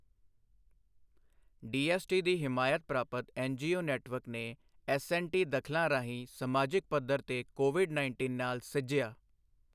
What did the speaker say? DST ਦੀ ਹਮਾਇਤ ਪ੍ਰਾਪਤ ਐੱਨਜੀਓ ਨੈੱਟਵਰਕ ਨੇ ਐੱਸਐਂਡਟੀ ਦਖ਼ਲਾਂ ਰਾਹੀਂ ਸਮਾਜਿਕ ਪੱਧਰ ਤੇ ਕੋਵਿਡ ਨਾਇੰਟੀਨ ਨਾਲ ਸਿੱਝਿਆ।